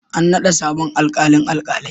An naɗa sabon alƙalin alkalai.